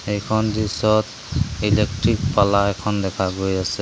এইখন দৃশ্যত ইলেকট্ৰিক পাল্লা এখন দেখা গৈ আছে।